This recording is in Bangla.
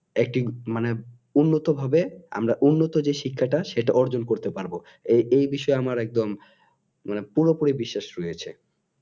একদিন মানে উন্নত ভাবে আমরা উন্নত যে শিক্ষাটা সেটা অর্জন করতে পারবো এ এই বিষয়ে আমার একদম পুরোপুরি বিশ্বাস রয়েছে